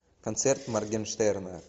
концерт моргенштерна